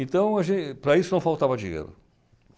Então, a gen para isso não faltava dinheiro.